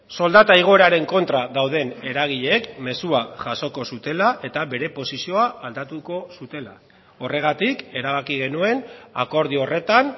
soldata igoeraren kontra dauden eragileek mezua jasoko zutela eta bere posizioa aldatuko zutela horregatik erabaki genuen akordio horretan